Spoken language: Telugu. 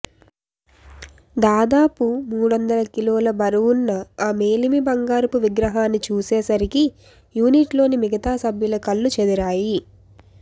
దాదాపు మూడొందల కిలోల బరువున్న ఆ మేలిమి బంగారపు విగ్రహాన్ని చూసేసరికి యూనిట్ లోని మిగతా సభ్యుల కళ్ళు చెదిరాయి